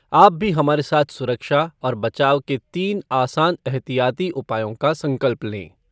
आप भी हमारे साथ सुरक्षा और बचाव के तीन आसान एहतियाती उपायों का संकल्प लें।